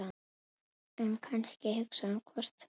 En kannski hugsaði hún hvort tveggja.